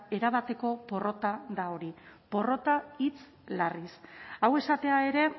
erabateko porrota da hori porrota hitz larriz hau esatea ere